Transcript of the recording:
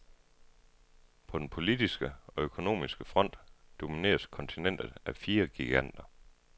På den politiske og økonomiske front domineres kontinentet af fire giganter.